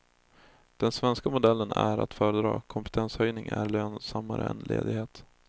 Den svenska modellen är att föredra, kompetenshöjning är lönsammare än ledighet.